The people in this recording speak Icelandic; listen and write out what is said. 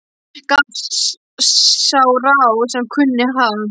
Gaf sá ráð sem kunni, ha!